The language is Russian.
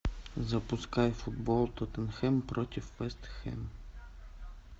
запускай футбол тоттенхэм против вест хэм